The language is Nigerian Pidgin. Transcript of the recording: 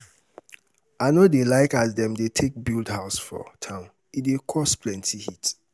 i no dey like as dem um dey take build house for town e dey cause um plenty heat.